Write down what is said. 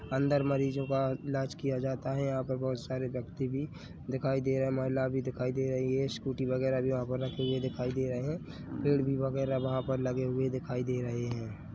अंदर मरीजों का ईलाज किया जाता है यहाँ पर बहोत सारे व्यक्ति भी दिखाई दे रहे हैं महिला भी दिखाई दे रही है स्कूटी वगेरा भी वहाँ पे रखे हुए दिखाई दे रहे हैं पेड़ भी वगैरा वहाँ पर लगे हुए दिखाई दे रहे हैं।